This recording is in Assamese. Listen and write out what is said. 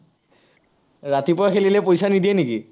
ৰাতিপুৱা খেলিলে পইচা নিদিয়ে নেকি?